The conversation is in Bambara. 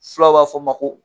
Fulaw b'a fɔ min ma ko